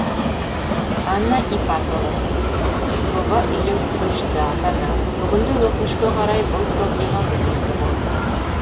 анна ипатова жоба үйлестірушісі ата ана бүгінде өкінішке қарай бұл проблема өзекті болып тұр